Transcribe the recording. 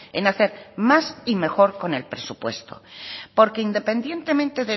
en hacer más y mejor con el presupuesto porque independientemente